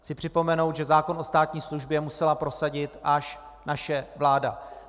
Chci připomenout, že zákon o státní službě musela prosadit až naše vláda.